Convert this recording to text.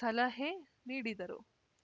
ಸಲಹೆ ನೀಡಿದರು